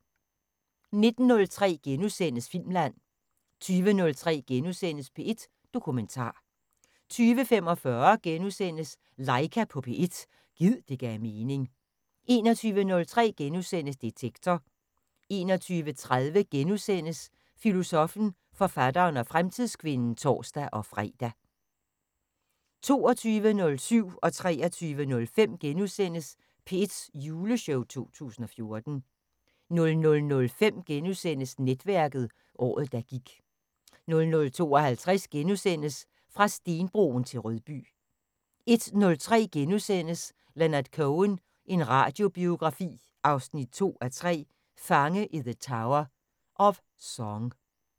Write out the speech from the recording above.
19:03: Filmland * 20:03: P1 Dokumentar * 20:45: Laika på P1 – gid det gav mening * 21:03: Detektor * 21:30: Filosoffen, forfatteren og fremtidskvinden *(tor-fre) 22:07: P1's juleshow 2014 * 23:05: P1's juleshow 2014 * 00:05: Netværket: Året, der gik * 00:52: Fra stenbroen til Rødby * 01:03: Leonard Cohen – en radiobiografi 2:3: Fange i the tower – of Song *